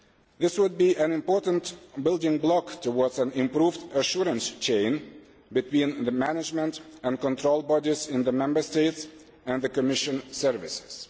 This would be an important building block towards an improved assurance chain between the management and control bodies in the Member States and the Commission services.